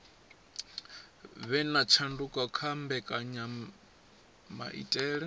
vhe na tshanduko kha mbekanyamaitele